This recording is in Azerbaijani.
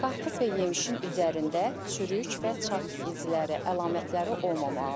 Qarpız və yemişin üzərində çürük və çat izləri əlamətləri olmamalıdır.